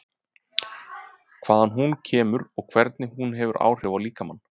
Hvaðan hún kemur og hvernig hún hefur áhrif á líkamann?